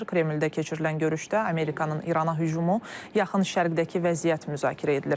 Kremlldə keçirilən görüşdə Amerikanın İrana hücumu, Yaxın Şərqdəki vəziyyət müzakirə edilir.